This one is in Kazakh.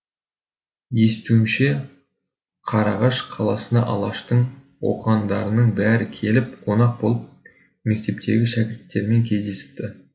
естуімізше қарағаш қаласына алаштың оқығандарының бәрі келіп қонақ болып мектептегі шәкірттермен кездесіпті